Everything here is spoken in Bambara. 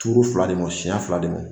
Turu fila de ma senɲɛ fila de ma